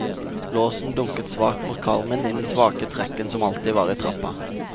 Låsen dunket svakt mot karmen i den svake trekken som alltid var i trappa.